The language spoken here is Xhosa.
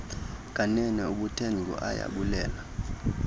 kanene ubuthe nguayabulela